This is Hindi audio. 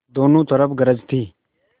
दोनों तरफ गरज थी